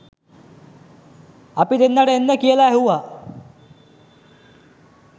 අපි දෙන්නට එන්න කියලා ඇහුවා